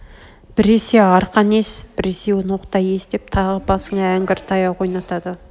біресе арқан ес біресе ноқта ес деп тағы басыңа әңгір таяқ ойнатады